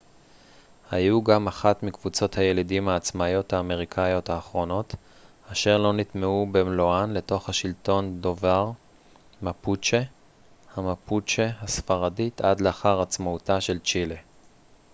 המפוצ'ה mapuche היו גם אחת מקבוצות הילידים העצמאיות האמריקאיות האחרונות אשר לא נטמעו במלואן לתוך השלטון דובר הספרדית עד לאחר עצמאותה של צ'ילה